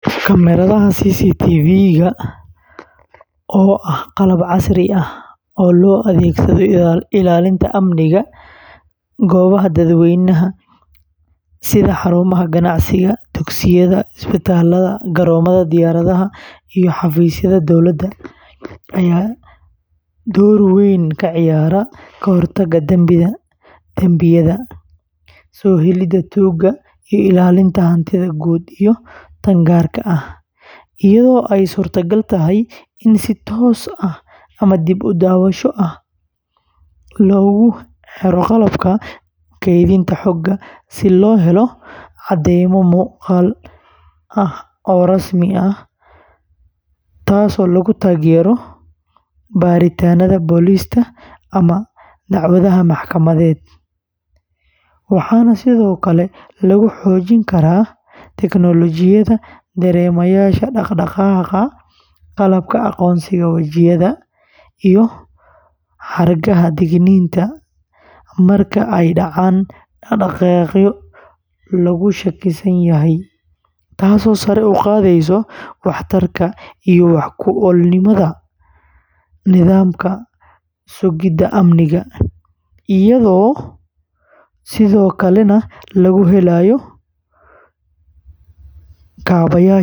Kamaradaha CCTV-ga, oo ah qalab casri ah oo loo adeegsado ilaalinta amniga goobaha dadweynaha sida xarumaha ganacsiga, dugsiyada, isbitaallada, garoomada diyaaradaha, iyo xafiisyada dawladda, ayaa door weyn ka ciyaara ka hortagga dambiyada, soo helidda tuugta, iyo ilaalinta hantida guud iyo tan gaarka ah, iyadoo ay suurtagal tahay in si toos ah ama dib-u-daawasho ah loogu xiro qalabka kaydinta xogta si loo helo caddaymo muuqaal ah oo rasmi ah oo lagu taageero baaritaannada booliska ama dacwadaha maxkamadeed, waxaana sidoo kale lagu xoojin karaa tiknoolajiyada dareemayaasha dhaqdhaqaaqa, qalabka aqoonsiga wejiyada, iyo xargaha digniinta marka ay dhacaan dhaqdhaqaaqyo laga shakisan yahay, taasoo sare u qaadaysa waxtarka iyo wax-ku-oolnimada nidaamka sugidda amniga, iyadoo sidoo kalena laga helayo kaabayaasha internet-ka.